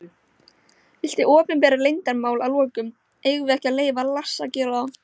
Viltu opinbera leyndarmál að lokum: Eigum við ekki að leyfa Lars að gera það?